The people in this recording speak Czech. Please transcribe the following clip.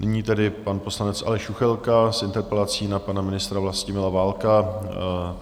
Nyní tedy pan poslanec Aleš Juchelka s interpelací na pana ministra Vlastimila Válka.